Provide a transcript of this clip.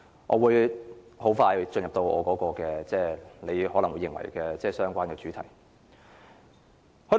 我會很快進入你認為的相關主題。